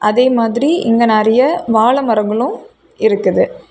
அதே மாதிரி இங்க நிறைய வாழ மரங்களும் இருக்குது.